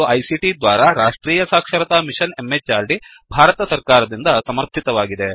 ಇದು ಐಸಿಟಿ ದ್ವಾರಾ ರಾಷ್ಟ್ರೀಯ ಸಾಕ್ಷರತಾ ಮಿಶನ್ ಎಂಎಚಆರ್ಡಿ ಭಾರತ ಸರ್ಕಾರ ದಿಂದ ಸಮರ್ಥಿತವಾಗಿದೆ